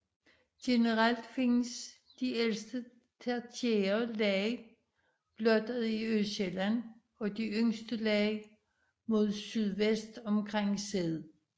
Generelt findes de ældste tertiære lag blottet i Østsjælland og de yngste lag mod sydvest omkring Sæd